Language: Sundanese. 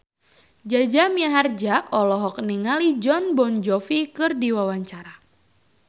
Jaja Mihardja olohok ningali Jon Bon Jovi keur diwawancara